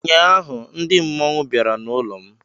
Ụnyaahụ ndị mmọnwụ bịara n'ụlọ m